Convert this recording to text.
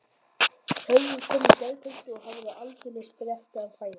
Hörður kom í gærkvöldi og hafði aldeilis fréttir að færa.